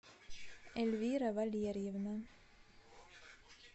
эльвира валерьевна